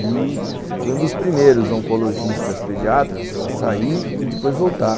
E fui um dos primeiros oncologistas pediatras a sair e depois voltar.